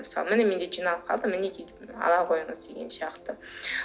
мысалы міне менде жиналып қалды мінеки ала қойыңыз деген сияқты